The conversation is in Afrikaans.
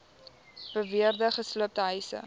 beweerde gesloopte huise